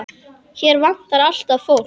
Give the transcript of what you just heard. Hér vantar alltaf fólk.